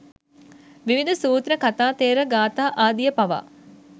විවිධ සූත්‍ර, කථා ථෙර ගාථා ආදිය පවා